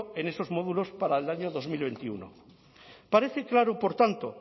en esos módulos para el año dos mil veintiuno parece claro por tanto